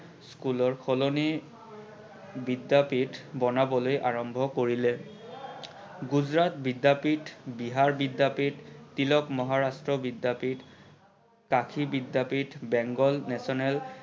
স্কুলৰ সলনি বিদ্যাপিঠ বনাবলৈ আৰম্ভ কৰিলে। গুজৰাট বিদ্যাপিঠ, বিহাৰ বিদ্যাপিঠ, তিলক মহাৰাষ্ট্ৰ বিদ্যাপিঠ, কাষী বিদ্যাপিঠ, বেংগল National